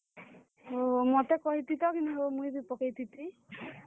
ଓହୋ, ମତେ କହିଥିତ କିନି ହୋ, ମୁଇଁ ବି ପକେଇଥିତି।